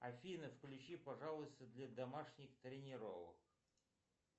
афина включи пожалуйста для домашних тренировок